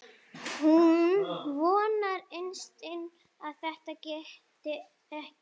Hún vonar innst inni að þetta geti ekki verið.